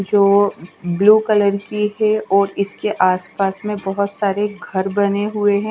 जो blue colour की है और इसके आस पास में बहोत सारे घर बने हुए है।